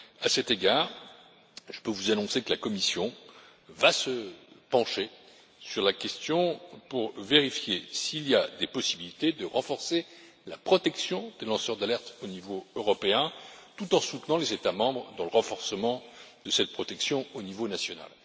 À cet égard, je peux vous annoncer que la Commission va se pencher sur la question pour vérifier s'il existe des possibilités de renforcer la protection des lanceurs d'alerte au niveau européen, tout en soutenant les États membres dans le renforcement de cette protection au niveau national.